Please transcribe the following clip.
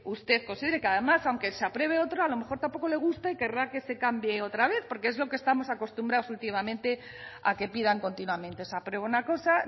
usted considera que además aunque se apruebe otro a lo mejor tampoco le gusta y querrá que se cambie otra vez porque es lo que estamos acostumbrados últimamente a que pidan continuamente se aprueba una cosa